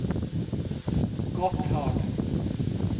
Gotthard